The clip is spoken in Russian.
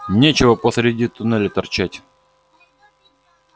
нечего посреди туннеля торчать